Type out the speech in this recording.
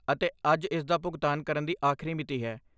ਅਤੇ ਅੱਜ ਇਸਦਾ ਭੁਗਤਾਨ ਕਰਨ ਦੀ ਆਖਰੀ ਮਿਤੀ ਹੈ।